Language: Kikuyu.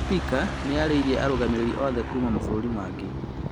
Spika nĩarĩirie arũgamĩrĩri othe kuma mabũrũri mangĩ